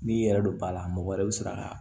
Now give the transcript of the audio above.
N'i yɛrɛ don ba la mɔgɔ wɛrɛ bɛ sɔrɔ ka